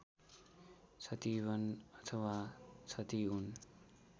छतिवन अथवा छतिउन